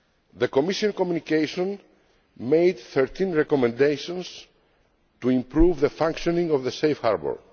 The Commission communication made 13 recommendations to improve the functioning of the Safe Harbour.